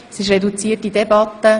Wir führen eine reduzierte Debatte.